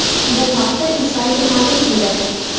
Bu haqda Insider ma’lum qildi .